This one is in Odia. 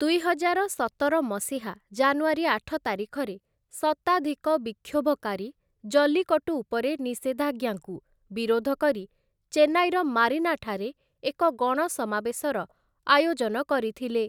ଦୁଇହଜାର ସତର ମସିହା ଜାନୁଆରୀ ଆଠ ତାରିଖରେ, ଶତାଧିକ ବିକ୍ଷୋଭକାରୀ ଜଲ୍ଲିକଟ୍ଟୁ ଉପରେ ନିଷେଧାଜ୍ଞାକୁ ବିରୋଧ କରି ଚେନ୍ନାଇର ମାରିନାଠାରେ ଏକ ଗଣସମାବେଶର ଆୟୋଜନ କରିଥିଲେ ।